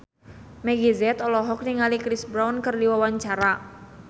Meggie Z olohok ningali Chris Brown keur diwawancara